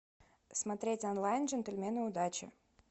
смотреть онлайн джентльмены удачи